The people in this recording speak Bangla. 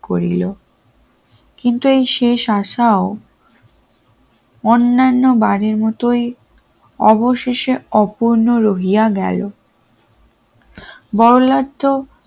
করিল কিন্তু শেষ আশা ও অন্যান্য বারের মতোই অবশেষে অপূর্ণ রহিয়া গেল বল্লার তো